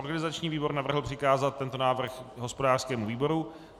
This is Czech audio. Organizační výbor navrhl přikázat tento návrh hospodářskému výboru.